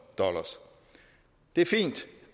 det er fint